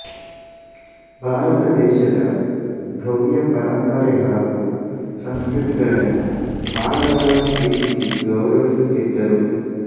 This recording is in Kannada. ಭಾರತ ದೇಶದ ಭ್ಯವ್ಯ ಪರಂಪರೆ ಹಾಗೂ ಸಂಸ್ಕೃತಿಗಳನ್ನು ಆಳವಾಗಿ ಪ್ರೀತಿಸಿ ಗೌರವಿಸುತ್ತಿದ್ದರು